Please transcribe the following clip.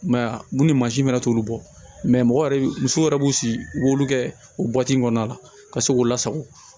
I m'a ye ya munni mansin fana t'olu bɔ mɛ mɔgɔ yɛrɛ musow yɛrɛ b'u sigi u b'olu kɛ o kɔnɔna la ka se k'u lasago